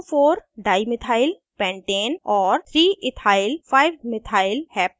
* 24 dimethyl pentane और 3ethyl 5methyl heptane